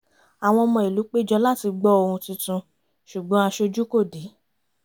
àwọn ọmọ ìlú péjọ láti gbọ ohun tuntun ṣùgbọ́n aṣojú kò dé